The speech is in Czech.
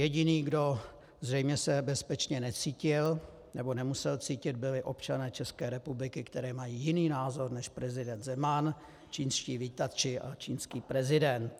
Jediný, kdo zřejmě se bezpečně necítil nebo nemusel cítit, byli občané České republiky, kteří mají jiný názor než prezident Zeman, čínští vítači a čínský prezident.